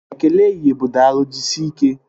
Ekele ehihie bụ Daalụ, jisike